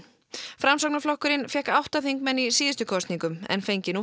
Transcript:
framsóknarflokkurinn fékk átta þingmenn í síðustu kosningum en fengi nú